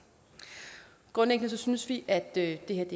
grundlæggende synes vi at det her